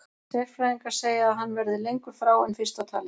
Sérfræðingar segja að hann verði lengur frá en fyrst var talið.